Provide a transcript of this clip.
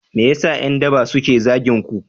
Me yasa yan daba suke zagin ku